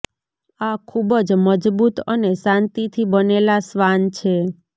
આ ખૂબ જ મજબૂત અને શાંતિથી બનેલા શ્વાન છે